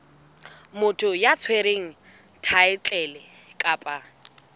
motho ya tshwereng thaetlele kapa